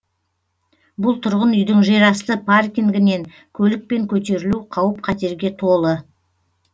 бұл тұрғын үйдің жерасты паркингінен көлікпен көтерілу қауіп қатерге толы